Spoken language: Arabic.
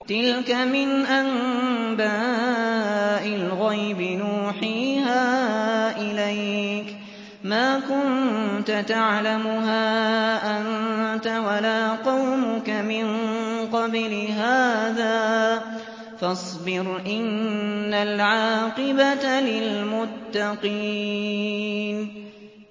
تِلْكَ مِنْ أَنبَاءِ الْغَيْبِ نُوحِيهَا إِلَيْكَ ۖ مَا كُنتَ تَعْلَمُهَا أَنتَ وَلَا قَوْمُكَ مِن قَبْلِ هَٰذَا ۖ فَاصْبِرْ ۖ إِنَّ الْعَاقِبَةَ لِلْمُتَّقِينَ